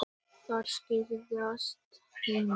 Þær skreiðast heim.